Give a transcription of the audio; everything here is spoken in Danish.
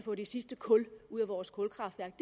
få det sidste kul ud af vores kulkraftværker